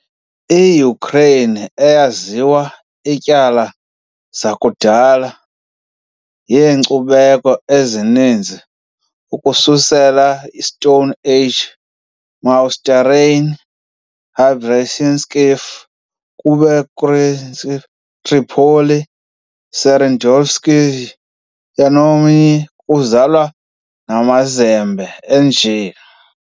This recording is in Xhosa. IYukreyini eyaziwa ityala zakudala yeenkcubeko ezininzi ukususela Stone Age - Mousterian, hrebenykivskoyi, kukretskoyi, Tripoli, serednostohivskoyi, yamnoyi, uzalwa nezamazembe, enje